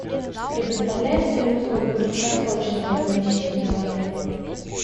предоставляется ли услуга краткосрочного размещения в отеле